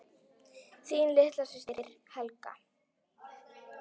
Þín litla systir, Helga.